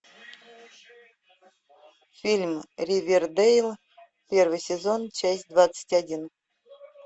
фильм ривердейл первый сезон часть двадцать один